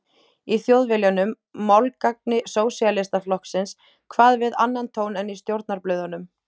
Í Þjóðviljanum, málgagni Sósíalistaflokksins, kvað við annan tón en í stjórnarblöðunum.